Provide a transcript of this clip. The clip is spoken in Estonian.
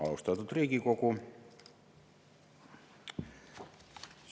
Austatud Riigikogu!